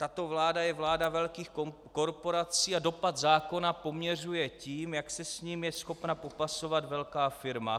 Tato vláda je vláda velkých korporací a dopad zákona poměřuje tím, jak se s nimi je schopna popasovat velká firma.